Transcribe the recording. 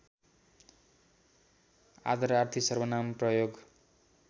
आदरार्थी सर्वनाम प्रयोग